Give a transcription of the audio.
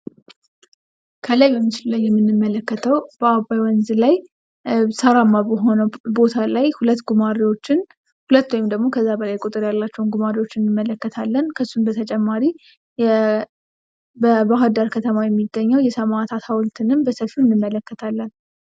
ከላይ በምስሉ ላይ የምንመለከተው በአባይ ወንዝ ላይ ሳራማ በሆነ ወንዝ ላይ ሁለት ጉማሬዎችን ሁለት ወይም ከዛ በላይ ቁጥር ያላቸው ጉማሬዎችን እንመለከታለን። ከሱም በተጨማሪ በባህርዳር ከተማ የሚገኘው የሰማዕታት ሀውልትንም በስፋት እንመለከታለን።